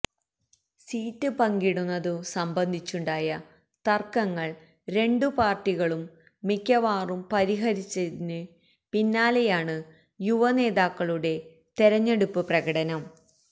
seat പങ്കിടുന്നതു സംബന്ധിച്ചുണ്ടായ തര്ക്കങ്ങള് രണ്ടു പാര്ട്ടികളും മിക്കവാറും പരിഹരിച്ചതിന് പിന്നാലെയാണ് യുവനേതാക്കളുടെ തെരഞ്ഞെടുപ്പ് പ്രകടനം